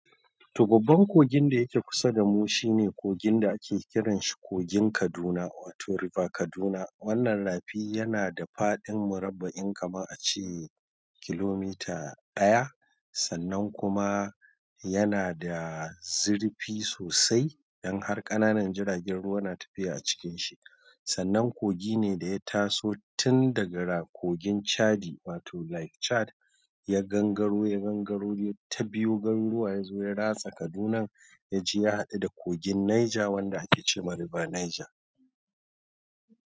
To babban kogin da yake kusa da mu shine kogin da ake kiranshi kogin Kaduna wato River Kaduna. Wannan rafi yana da faɗin murabba'in kama a ce kilomita ɗaya, sannan kuma yana da zurfi sosai don har ƙananan jiragen ruwa na tafiya a cikin shi. Sannan kogi ne da ya taso tun daga Rakogin Chadi wato Lake Chad ya gangaro ya gangaro ya ta biyo garuruwa ya zo ya ratsa Kaduna ya je ya haɗu da kogin Niger wanda ake ce ma River Niger.